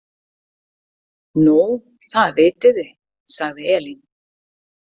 Nú, það vitið þið, sagði Elín.